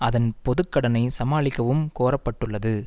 அதன் பொது கடனை சமாளிக்கவும் கோர பட்டுள்ளது